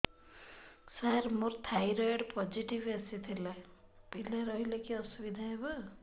ସାର ମୋର thyroid positive ଆସିଥିଲା ପିଲା ରହିଲେ କି ଅସୁବିଧା ହେବ